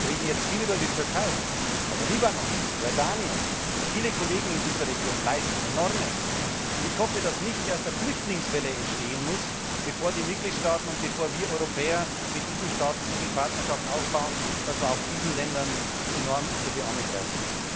Wir reden jetzt viel über die Türkei, aber auch der Libanon, Jordanien, viele in dieser Region leisten Enormes, und ich hoffe, dass nicht erst eine Flüchtlingswelle entstehen muss, bevor die Mitgliedstaaten und bevor wir Europäer mit diesen Staaten so viel Partnerschaft aufbauen, dass wir auch diesen Ländern enorm unter die Arme greifen.